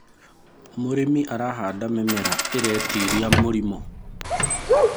mũrĩmi arahanda mĩmera iretĩĩria mĩrimũ